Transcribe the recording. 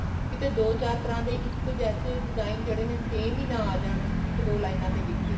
ਕਿਤੇ ਦੋ ਦੋ ਚਾਰ ਤਰ੍ਹਾਂ ਦੇ ਇੱਕ ਜੈਸੇ design ਜਿਹੜੇ ਨੇ same ਹੀ ਨਾ ਆ ਜਾਣ ਇੱਕ ਦੋ ਲਾਈਨਾ ਦੇ ਵਿੱਚ ਹੀ